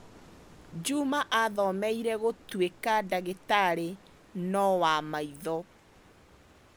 Juma aathomeire gũtuĩka ndagĩtarĩ no wa maitho.